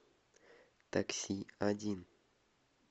такси один